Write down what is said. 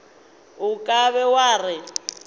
o ka be wa re